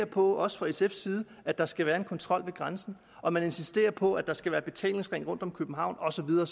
på også fra sfs side at der skal være en kontrol ved grænsen og man insisterer på at der skal være betalingsring rundt om københavn og så videre